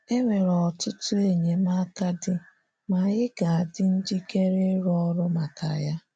Enwere ọtụtụ enyemaka dị, ma anyị ga-adị njikere ịrụ ọrụ maka ya.